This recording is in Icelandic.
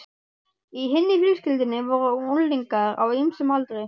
Í hinni fjölskyldunni voru unglingar á ýmsum aldri.